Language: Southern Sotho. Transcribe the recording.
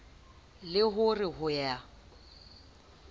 le ho re ho ya